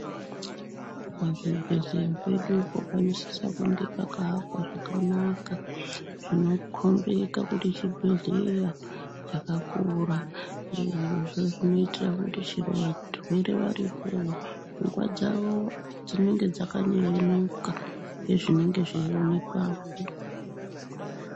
Pazvibhedhleya pedupo panosisa kunge pakaakwa zvakanaka, zvinokhombeka kuti chibhedhleya chakakura. Zvirozvo zvinoitira kuti chero varwere varipowo, pfungwa dzavo dzinenge dzakanyevenuka, nezvinenge zveionekwapo.